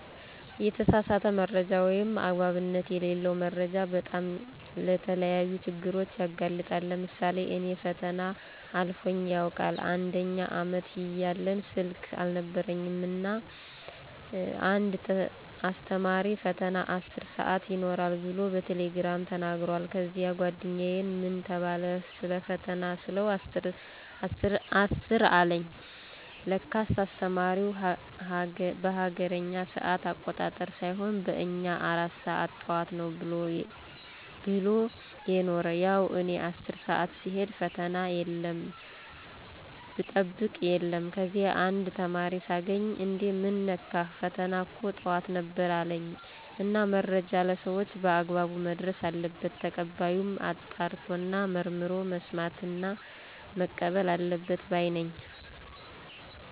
የተሳሳተ መረጃ ወይም አግባብነት የለለው መረጃ በጣም ለተለያዩ ችግሮች ያጋልጣል። ለምሳሌ እኔ ፈተና አልፎኝ ያውቃል፦ አንደኛ አመት እያለን ስልክ አልነበረኝም እና እና አንድ አስተማሪ ፈተና 10 ሰአት ይኖራል ብሎ በቴሌግራም ተናግሯል። ከዚያ ጓደኛየን ምን ተባለ ሰለፈተና ስለው 10 አለኝ ለካስ አስተማሪው በሀገሬኛ ሰአት አቆጣጠር ሳይሆን በእኛ 4 ሰአት ጠዋት ነው ብሎ የነሮ። ያው እኔ 10 ሰአት ስሄድ ፈተና የለም ብጠብቅ የለም። ከዚያ አንድ ተማሪ ሳገኝ እንዴ ምን ነካህ ፈተና እኮ ጠዋት ነበር አለኝ። እና መረጃ ለሰወች በአግባብ መድረስ አለበት። ተቀባዩም አጣርቶና መርምሮ መስማትና መቀበል አለበት ባይ ነኝ።